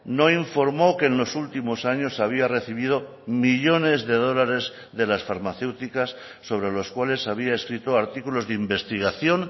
no informó que en los últimos años había recibido millónes de dólares de las farmacéuticas sobre los cuales había escrito artículos de investigación